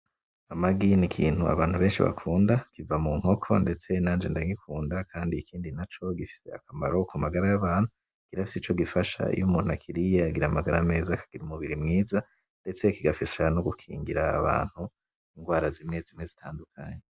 Amagi n'ikintu abantu benshi bakunda, kiva munkoko, ndetse nanje ndagikunda Kandi ikindi naco , gifise akamaro ku magara y'abantu, irafise ico gifasha, iy'umuntu akiriye aragira amagara meza akagira umubiri mwiza mbetse kigafasha nogukingira abantu ingwara zimwe zimwe zitandukanye.